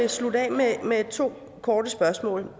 vil slutte af med to korte spørgsmål